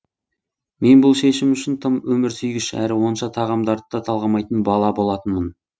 мен бұл шешім үшін тым өмірсүйгіш әрі онша тағамдарды да талғамайтын бала болатынмын